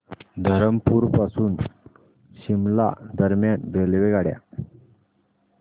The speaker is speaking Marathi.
धरमपुर पासून शिमला दरम्यान रेल्वेगाड्या